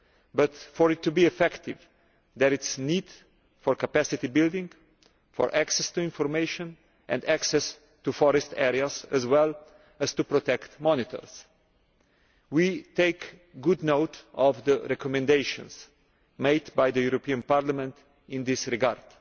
But for it to be effective, there is a need for capacity building, for access to information and access to forest areas, as well as to protect monitors. We take good note of the recommendations made by Parliament in this regard.